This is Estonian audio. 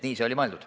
Nii see oli mõeldud.